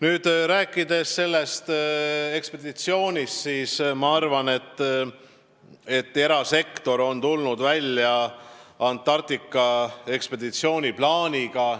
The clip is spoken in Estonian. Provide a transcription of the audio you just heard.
Mis puutub sellesse ekspeditsiooni, siis jah, erasektor on tulnud välja Antarktika ekspeditsiooni plaaniga.